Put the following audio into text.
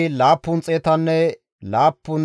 Elaame zereththati 1,254,